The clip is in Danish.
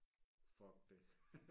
Fuck det